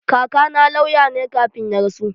Kakana lauya ne kafin ya rasu.